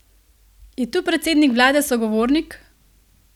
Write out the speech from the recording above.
Je tu predsednik vlade sogovornik?